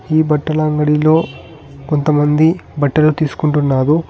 ఈ బట్టల అంగడిలో కొంతమంది బట్టలు తీసుకుంటున్నారు.